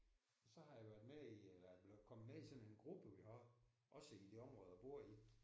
Og så har jeg været med i eller er blevet kommet med i sådan en gruppe vi har op også i det område jeg bor i